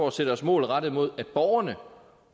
at sætte os mål rettet mod at at borgerne